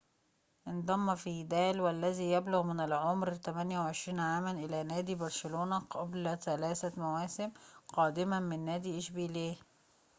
انضم فيدال والذي يبلغ من العمر 28 عاماً إلى نادي برشلونة قبل ثلاثة مواسم قادماً من نادي إشبيلية